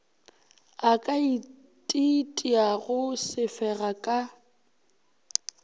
a ka ititiago sefega ka